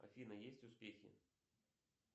афина есть успехи